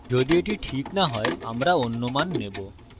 যদি এটি ঠিক না হয় আমরা অন্য মান নেবো